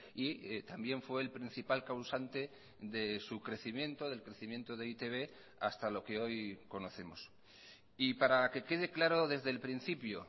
y también fue el principal causante de su crecimiento del crecimiento de e i te be hasta lo que hoy conocemos y para que quede claro desde el principio